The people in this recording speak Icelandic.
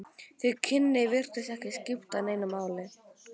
Þau kynni virtust ekki skipta neinu máli.